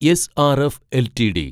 SRF LTD